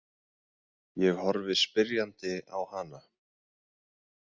Ég horfi spyrjandi á hana.